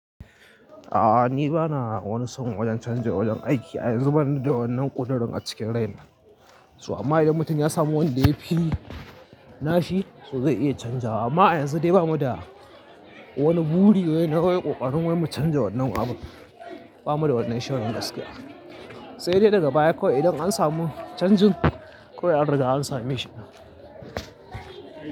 A'a ni bana wani son wajen canza wajen aiki a yanzu bana da wannan ƙudurin a cikin raina. Su amma idan mutum ya samu wanda yafi nashi to zai iya canzawa amma yanzu dai bamu da wani buri wai ne ko ƙoƙarin wai mu canza wannan abun. Bamu da wannan shirin gaskiya. Sai dai daga baya kawai idan an samu canjin kawai an riga an same shi.